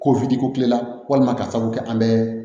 Ko ko kulela walima ka sabu kɛ an bɛ